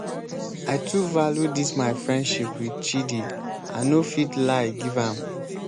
i too value dis my friendship with chidi i no fit lie give am.